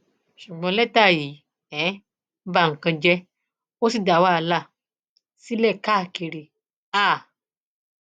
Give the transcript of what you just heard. ṣùgbọn lẹtà yìí um ba nǹkan jẹ ó sì dá wàhálà sílẹ káàkiri um